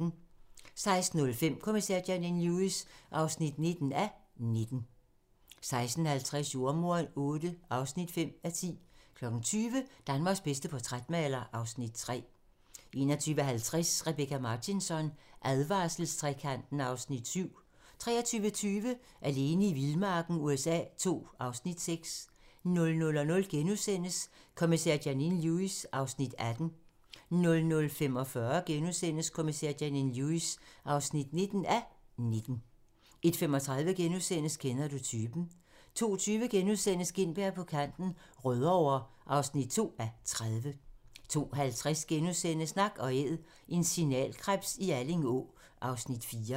16:05: Kommissær Janine Lewis (19:19) 16:50: Jordemoderen VIII (5:10) 20:00: Danmarks bedste portrætmaler (Afs. 3) 21:50: Rebecka Martinsson: Advarselstrekanten (Afs. 7) 23:20: Alene i vildmarken USA II (Afs. 6) 00:00: Kommissær Janine Lewis (18:19)* 00:45: Kommissær Janine Lewis (19:19)* 01:35: Kender du typen? * 02:20: Gintberg på kanten - Rødovre (2:30)* 02:50: Nak & æd - en signalkrebs i Alling Å (Afs. 4)*